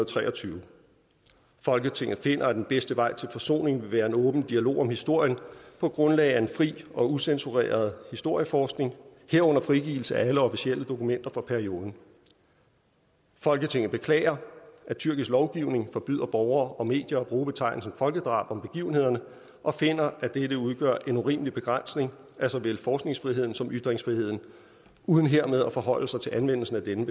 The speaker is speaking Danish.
tre og tyve folketinget finder at den bedste vej til forsoning vil være en åben dialog om historien på grundlag af en fri og ucensureret historieforskning herunder frigivelse af alle officielle dokumenter fra perioden folketinget beklager at tyrkisk lovgivning forbyder borgere og medier at bruge betegnelsen folkedrab om begivenhederne og finder at dette udgør en urimelig begrænsning af såvel forskningsfriheden som ytringsfriheden uden hermed at forholde sig til anvendelsen af denne